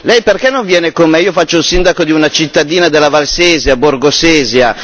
Lei perché non viene con me, io faccio il sindaco di una cittadina della Valsesia, Borgosesia.